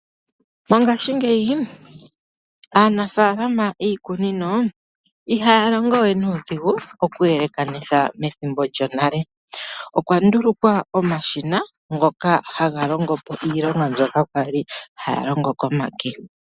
Mongashi ngeyi, aanafalama yiikunino ihaya longo we nuudhigu oku yelekanitha methimbo lyonale. Okwa ndulukwa omashina ngoka haga longo po iilonga mbyoka kwali haya longo komake.